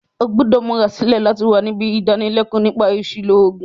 O gbúdò múra sílẹ̀ láti wa nibí ìdánilékóò nípa àsìlò ògùn